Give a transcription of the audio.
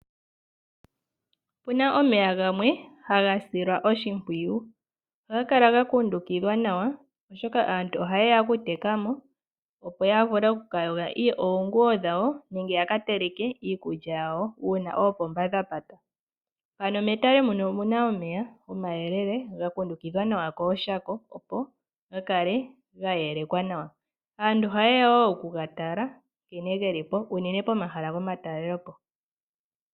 Opuna omeya gamwe haga silwa oshimpwiyu. Ohaga kala ga kundukidhwa nawa, oshoka aantu ohaye ya oku teka mo, opo ya vule oku ka yoga oonguwo dhawo nenge ya ka teleke iikulya yawo uuna oopomba dha pata. Ano metale muno omu na omeya omayelele, ga kundukidhwa nawa kooshako ga kale ga yelekwa nawa. Aantu ohaye ya wo oku ga tala nkene geli po, unene pomahala gomatalelopo.